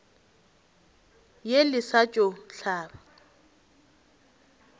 ye le sa tšo hlaba